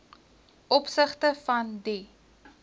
opsigte van die